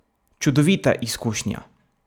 Čudovita izkušnja!